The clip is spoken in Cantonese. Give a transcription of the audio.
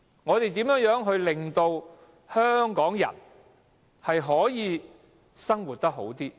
我們如何令香港人能夠生活得更好？